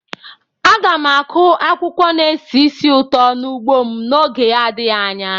Aga m akụ akwụkwọ na-esi ísì ụtọ n'ugbo m n'oge adịghị anya.